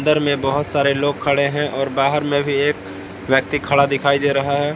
अंदर मे बहोत सारे लोग खड़े हैं और बाहर में भी एक व्यक्ति खड़ा दिखाई दे रहा है।